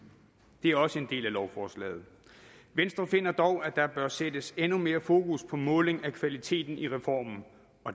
det er også en del af lovforslaget venstre finder dog at der bør sættes endnu mere fokus på måling af kvalitet i reformen